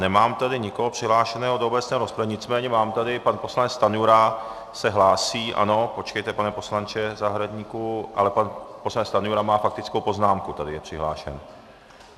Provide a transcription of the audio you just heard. Nemám tady nikoho přihlášeného do obecné rozpravy, nicméně mám tady - pan poslanec Stanjura se hlásí, ano, počkejte, pane poslanče Zahradníku, ale pan poslanec Stanjura má faktickou poznámku, tady je přihlášen.